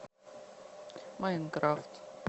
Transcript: майнкрафт